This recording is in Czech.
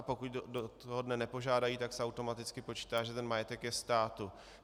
A pokud do toho dne nepožádají, tak se automaticky počítá, že ten majetek je státu.